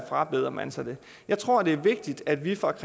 frabeder man sig det jeg tror det er vigtigt at vi fra